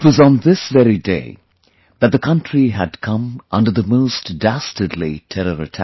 It was on this very day that the country had come under the most dastardly terror attack